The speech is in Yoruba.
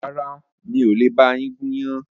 Rárá, mi ò le ba yín gún iyán